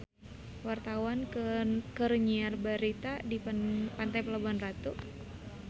Wartawan keur nyiar berita di Pantai Pelabuhan Ratu